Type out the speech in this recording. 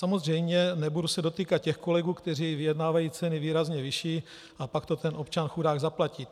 Samozřejmě nebudu se dotýkat těch kolegů, kteří vyjednávají ceny výrazně vyšší a pak to ten občan chudák zaplatí.